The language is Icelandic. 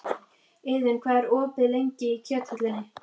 Iðunn, hvað er opið lengi í Kjöthöllinni?